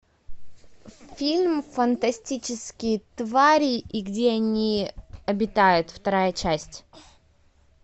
фильм фантастические твари и где они обитают вторая часть